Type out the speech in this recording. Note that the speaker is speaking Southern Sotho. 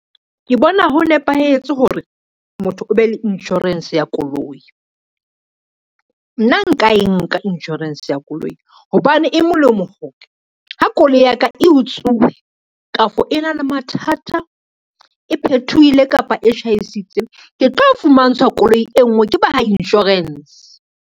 Ke bona ho nepahetse hore motho o be le insurance ya koloi. Nna nka e nka insurance ya koloi, hobane e molemo ha koloi ya ka e utsuwe, kafo e na le mathata, e phethohile kapa e tjhaisitse, ke tlo fumantshwa koloi e ngwe ke ba ha insurance.